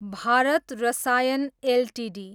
Bharat Rasayan Ltd